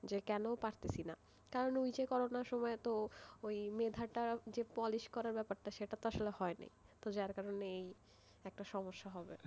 যে কেন পারতে ছি না? কারণ ঐ যে করোনা সময় মেধা যে polish করার ব্যাপারটা আসলে হয় নাইতো যার কারণেই একটা সমস্যা হবে,